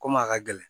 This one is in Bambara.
Komi a ka gɛlɛn